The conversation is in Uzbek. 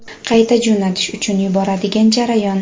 qayta jo‘natish uchun yuboradigan jarayon.